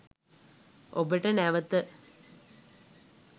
ඔබට නැවත